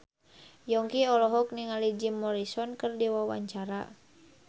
Yongki olohok ningali Jim Morrison keur diwawancara